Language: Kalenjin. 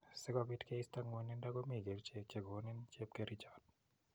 Sikopit keista ng'wanindo komii kerchek chekonin chepkerichot